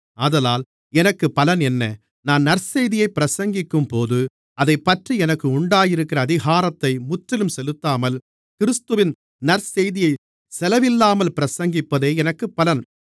ஆதலால் எனக்குப் பலன் என்ன நான் நற்செய்தியை பிரசங்கிக்கும்போது அதைப்பற்றி எனக்கு உண்டாயிருக்கிற அதிகாரத்தை முற்றிலும் செலுத்தாமல் கிறிஸ்துவின் நற்செய்தியைச் செலவில்லாமல் பிரசங்கிப்பதே எனக்குப் பலன்